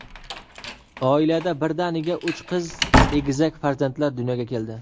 Oilada birdaniga uch qiz egizak farzandlar dunyoga keldi.